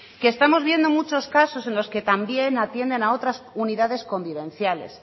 que estamos viendo muchas casos en los que también atienden a otras unidades convivenciales